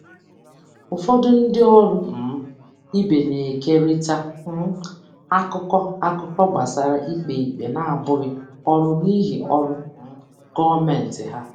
Ụfọdụ ndị ọrụ um ibe na-ekerịta um akụkọ akụkọ gbasara ikpe ikpe na-abụghị ọrụ n'ihi ọrụ um gọọmentị ha.